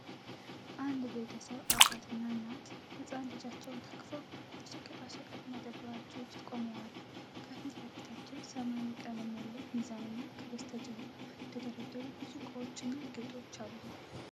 አንድ ቤተሰብ፣ አባትና እናት ሕፃን ልጃቸውን ታቅፈው፣ በሸቀጣሸቀጥ መደብራቸው ውስጥ ቆመዋል። ከፊት ለፊታቸው ሰማያዊ ቀለም ያለው ሚዛንና ከበስተጀርባ የተደረደሩ ብዙ እቃዎችና ጌጦች አሉ።